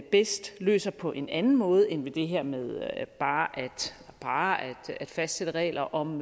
bedst løser på en anden måde end ved det her med bare at fastsætte regler om